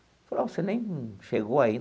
Ela falou ó, você nem chegou ainda.